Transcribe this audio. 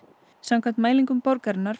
samkvæmt mælingum borgarinnar